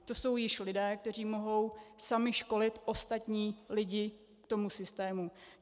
To jsou již lidé, kteří mohou sami školit ostatní lidi k tomu systému.